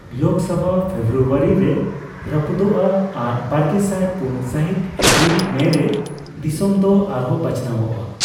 ᱞᱳᱠ ᱥᱚᱵᱷᱟ ᱯᱷᱮᱵᱽᱨᱩᱣᱟᱨᱤ ᱨᱮ ᱨᱟᱹᱯᱩᱫᱚᱜᱼᱟ ᱟᱨ ᱵᱟᱨᱜᱮᱥᱟᱭ ᱯᱩᱱ ᱥᱟᱹᱦᱤᱛ ᱮᱯᱨᱤᱞ ᱼᱢᱮᱹ ᱨᱮ ᱫᱤᱥᱚᱢ ᱫᱚ ᱟᱨᱦᱚ ᱵᱟᱪᱷᱱᱟᱣᱚᱜᱼᱟ ᱾